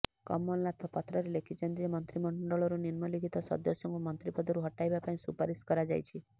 କମଲନାଥ ପତ୍ରରେ ଲେଖିଛନ୍ତି ଯେ ମନ୍ତ୍ରୀମଣ୍ଡଳରୁ ନିମ୍ନଲିଖିତ ସଦସ୍ୟଙ୍କୁ ମନ୍ତ୍ରୀ ପଦରୁ ହଟାଇବା ପାଇଁ ସୁପାରିଶ କରାଯାଇଛି